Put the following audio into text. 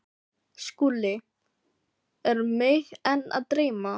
SKÚLI: Er mig enn að dreyma?